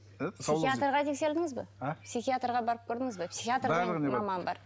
психиатрға тексерілдіңіз бе а психиатрға барып көрдіңіз бе психиатр деген маман бар